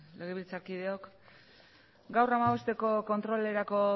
legebiltzarkideok gaur hamabosteko kontrolerako